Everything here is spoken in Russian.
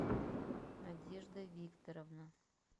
надежда викторовна